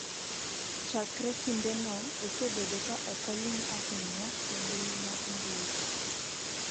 Chakre kindeno, osebedo ka ok oling’ ahinya e mbui mag mbui.